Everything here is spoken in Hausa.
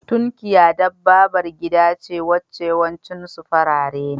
Tunkiya wata kalar dabbabar gida ce wacce yawancin su farare ne.